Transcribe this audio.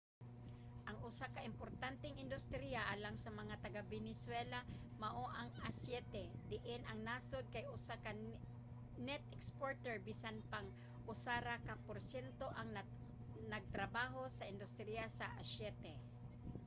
ang usa ka importanteng industriya alang sa mga taga-venezuela mao ang aseite diin ang nasod kay usa ka net exporter bisan pang usa ra ka porsyento ang nagtrabaho sa industriya sa aseite